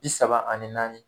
i saba ani naani.